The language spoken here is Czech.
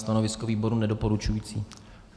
Stanovisko výboru nedoporučující.